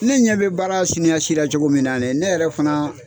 Ne ɲɛ bɛ baara siniya sira cogo min na ne yɛrɛ fana